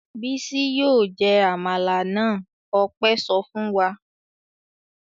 "Bísí yóò jẹ àmàlà náà!" Ọpẹ́ sọ fún wa.